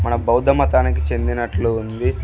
మన బౌద్ధమతానికి చెందినట్లు ఉంది.